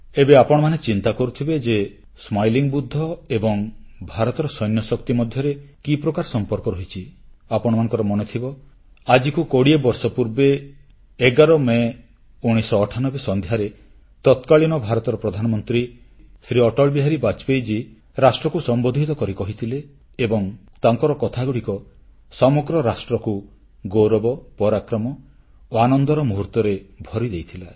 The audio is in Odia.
ଏବେ ଆପଣମାନେ ଚିନ୍ତା କରୁଥିବେ ଯେ ହସମୁଖ ବୁଦ୍ଧ ବା ସ୍ମାଇଲିଂ ବୁଧା ଏବଂ ଭାରତର ସୈନ୍ୟଶକ୍ତି ମଧ୍ୟରେ କି ପ୍ରକାର ସମ୍ପର୍କ ରହିଛି ଆପଣମାନଙ୍କର ମନେଥିବ ଆଜିକୁ 20 ବର୍ଷ ପୂର୍ବେ 11 ମେ 1998 ସନ୍ଧ୍ୟାରେ ତତ୍କାଳୀନ ଭାରତର ପ୍ରଧାନମନ୍ତ୍ରୀ ଶ୍ରୀ ଅଟଳବିହାରୀ ବାଜପେୟୀ ରାଷ୍ଟ୍ରକୁ ସମ୍ବୋଧିତ କରି କହିଥିଲେ ଏବଂ ତାଙ୍କର କଥାଗୁଡ଼ିକ ସମଗ୍ର ରାଷ୍ଟ୍ରକୁ ଗୌରବ ପରାକ୍ରମ ଓ ଆନନ୍ଦର ମୁହୂର୍ତ୍ତରେ ଭରିଦେଇଥିଲା